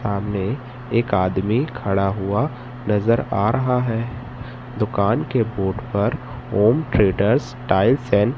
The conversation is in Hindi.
सामने एक आदमी खड़ा हुआ नजर आ रहा है दुकान के बोर्ड पर ओम ट्रेडर्स टाइल्स एंड --